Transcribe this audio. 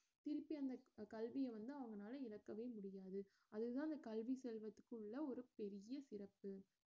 திருப்பி அந்த கல்விய வந்து அவங்கனால இழக்கவே முடியாது அதுதான் அந்த கல்வி செல்வத்துக்குள்ள ஒரு பெரிய சிறப்பு